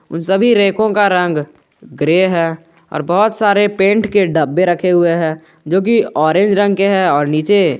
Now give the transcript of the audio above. उन सभी रैको का रंग ग्रे है और बहुत सारे पेंट के डब्बे रखे हुए हैं जो की ऑरेंज रंग के है और नीचे--